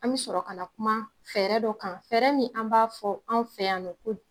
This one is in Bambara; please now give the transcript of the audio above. An bi sɔrɔ kana kuma fɛɛrɛ dɔ kan fɛɛrɛ min an b'a fɔ an' fɛ yan nɔ ko